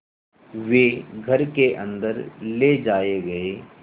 वे घर के अन्दर ले जाए गए